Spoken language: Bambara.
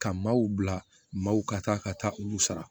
Ka maaw bila maaw ka taa ka taa olu sara